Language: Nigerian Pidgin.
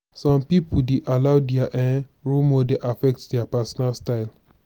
some pipo dey allow their um role model affect their personal style